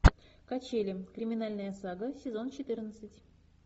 качели криминальная сага сезон четырнадцать